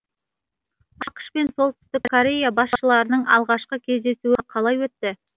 ақш пен солтүстік корея басшыларының алғашқы кездесуі қалай өтті